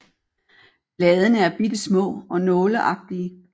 Bladene er bitte små og nåleagtige